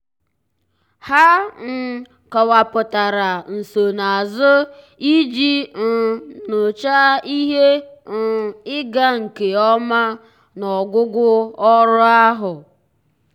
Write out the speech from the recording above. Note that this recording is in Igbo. há um kọ́wàpụ̀tárà nsonaazụ iji um nyòcháá ihe um ịga nke ọma n’ọ́gwụ́gwụ́ ọ́rụ́ ahụ́.